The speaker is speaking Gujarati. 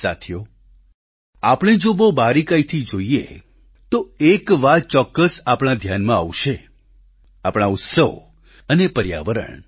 સાથીઓ આપણે જો બહુ બારીકાઈથી જોઈએ તો એક વાત ચોક્કસ આપણા ધ્યાનમાં આવશે આપણા ઉત્સવ અને પર્યાવરણ